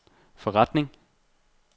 forretning